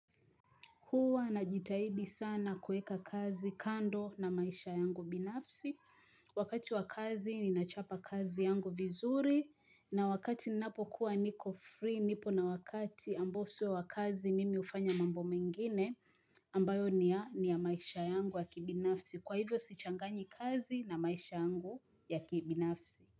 Huu anajitahidi sana kueka kazi kando na maisha yangu binafsi. Wakati wa kazi ninachapa kazi yangu vizuri. Na wakati napo kuwa niko free, nipo na wakati amboswe wa kazi mimi hufanya mambo mengine. Ambayo ni ya maisha yangu ya kibinafsi. Kwa hivyo sichangani kazi na maisha yangu ya kibinafsi.